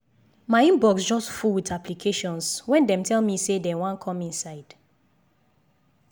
my inbox just full with applications wen dem tell me say dem wan come inside